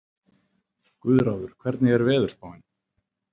Guðráður, hvernig er veðurspáin?